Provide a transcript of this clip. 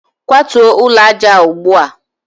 kwatuo ụlọ aja a ugbu a!